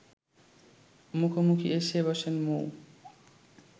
মুখোমুখি এসে বসেন মৌ